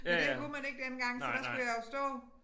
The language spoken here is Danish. Men det kunne man ikke dengang så der skulle jeg jo stå